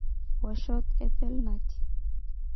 Woshot e penalti.